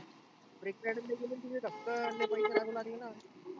फक्त पैसे लागू लागलेना.